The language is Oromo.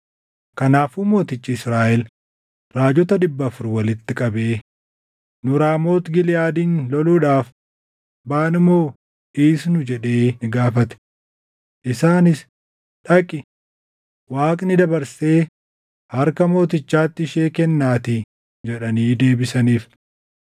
Kanaafuu mootichi Israaʼel raajota dhibba afur walitti qabee, “Nu Raamooti Giliʼaadin loluudhaaf baanu moo dhiisnu?” jedhee ni gaafate. Isaanis, “Dhaqi; Waaqni dabarsee harka mootichaatti ishee kennaatii” jedhanii deebisaniif.